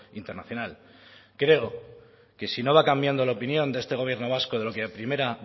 internacional creo que si no va cambiando la opinión de este gobierno vasco de lo que a primera